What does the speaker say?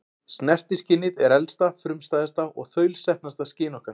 Snertiskynið er elsta, frumstæðasta og þaulsetnasta skyn okkar.